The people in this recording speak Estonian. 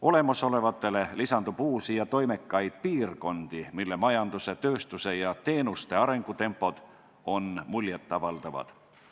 Olemasolevatele lisandub uusi ja toimekaid piirkondi, mille majanduse, tööstuse ja teenuste sektori arengutempod on muljet avaldavad.